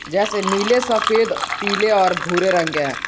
जैसे नीले सफेद पीले और भूरे रंग के है।